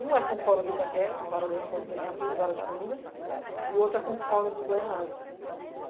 Um é com o Fórum de Itaquera, Vara da Influência da Juventude, Vara de Família, e outro é com o Fórum de Guaianazi.